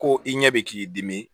Ko i ɲɛ bɛ k'i dimi